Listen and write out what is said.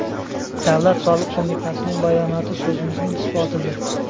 Davlat soliq qo‘mitasining bayonoti so‘zimizning isbotidir.